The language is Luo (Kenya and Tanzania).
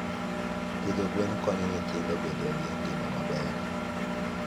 Pidho gwen konyo nyithindo bedo gi ngima maber.